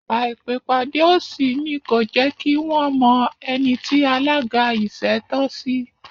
Àìpèpàdé òṣì ni kò jẹ́kí wọ́n mọ ẹni tí alága ìṣẹ́ tọ́ sí